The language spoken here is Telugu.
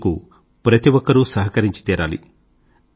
ఇందుకు ప్రతి ఒక్కరూ సహకరించి తీరాలి